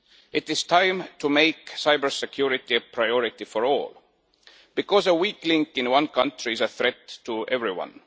It is time to make cybersecurity a priority for all, because a weak link in one country is a threat to everyone.